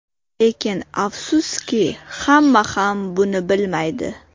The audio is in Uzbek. Lekin, afsuski, hamma ham buni bilmaydi.